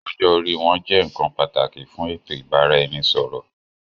Ọjọ́ orí wọn jẹ́ nkan pàtàkì fún eto ìbáraẹnisọọ̀rọ̀.